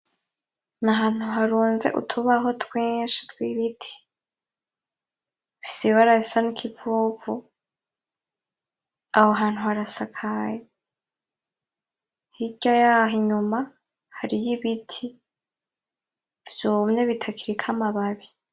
Ni ahantu harunze utubaho twinshi tw'ibiti, bifise ibara risa nk'ikivuvu, hirya yaho inyuma hariyo ibiti vyumye bitakiriko amababi.